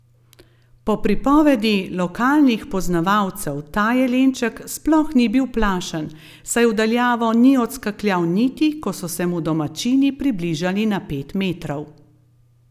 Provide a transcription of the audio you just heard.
Po pripovedi lokalnih poznavalcev ta jelenček sploh ni bil plašen, saj v daljavo ni odskakljal niti, ko so se mu domačini približali na pet metrov.